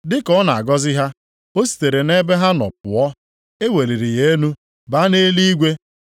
Dị ka ọ na-agọzi ha, ọ sitere nʼebe ha nọ pụọ, e weliri ya elu, baa nʼeluigwe.